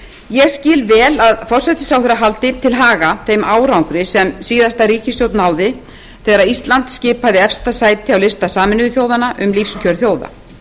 ég skil vel að forsætisráðherra haldi til haga þeim árangri sem síðasta ríkisstjórn náði þegar ísland skipaði efsta sæti á lista sameinuðu þjóðanna um lífskjör þjóða